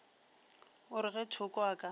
o re ge thoko a